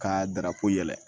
Ka darapɛ yɛlɛ